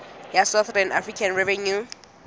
ya south african revenue service